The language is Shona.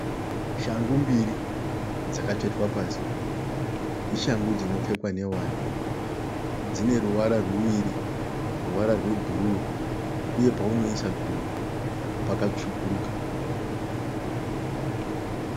Shangu mbiri dzakatsvetwa pasi. Ishangu dzinopfekwa nevana. Dzineruvara ruviri ruvara rwebhuruu uye paunoisa gumbo pakatsvukuruka.